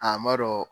A ma dɔn